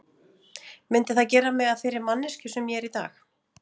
Myndi það gera mig að þeirri manneskju sem ég er í dag?